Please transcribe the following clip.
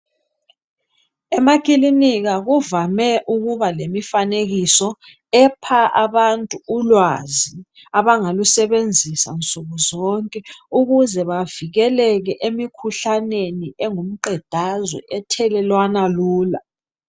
Emakilika kuvame ukuba lemifanekiso epha abantu ulwazi abangalusebenzisa nsukuzonke ukuze bavikelekele emikhuhlaneni engumqedazwe ethelelana lula.